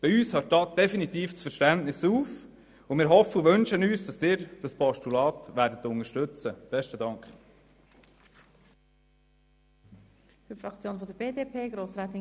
Bei uns hört da das Verständnis definitiv auf und wir hoffen und wünschen uns, dass Sie das Postulat unterstützen werden.